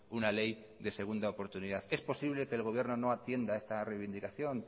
una ley de segunda oportunidad es posible que el gobierno no atienda esta reivindicación